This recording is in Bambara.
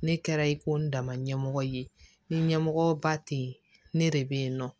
Ne kɛra i ko n dama ɲɛmɔgɔ ye ni ɲɛmɔgɔba tɛ yen ne de bɛ yen nɔ